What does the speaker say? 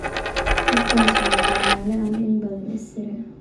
Qofkas wa Benale , ani inbadaan isire.